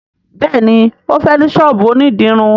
béèni o fè ní sọ́ọ̀bù òní dirun.